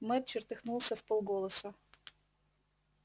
мэтт чертыхнулся вполголоса